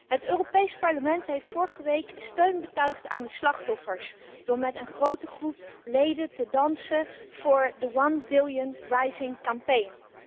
Het Europees Parlement heeft vorige week steun betuigd aan de slachtoffers door met een grote groep leden te dansen voor de One Billion Rising Campaign